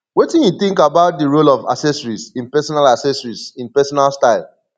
wetin you think about di role of accessories in pesinal accessories in pesinal style